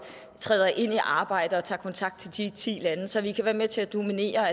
træder ind i arbejdet og tager kontakt til de ti lande så vi kan være med til at dominere